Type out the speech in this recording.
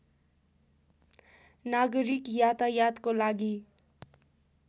नागरिक यातायातको लागि